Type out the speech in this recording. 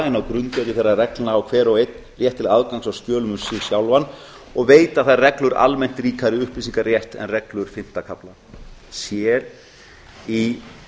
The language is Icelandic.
en á grundvelli þeirra reglna á hver og einn rétt til aðgangs að skjölum sig sjálfan og veita þær reglur almennt ríkari upplýsingarétt en reglur fimmta kafla c í